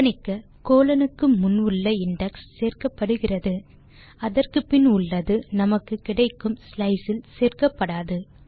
கவனிக்க கோலோன் க்கு முன் உள்ள இண்டெக்ஸ் சேர்க்கப்படுகிறது அதற்கு பின் உள்ளது நமக்கு கிடைக்கும் ஸ்லைஸ் இல் சேர்க்கப்படாது